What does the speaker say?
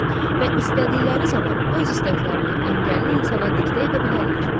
Və istədikləri zaman öz istəklərini əngəlli insana diktə edə bilərlər.